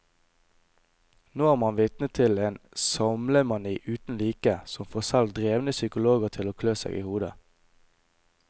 Nå er man vitne til en samlemani uten like, som får selv drevne psykologer til å klø seg i hodet.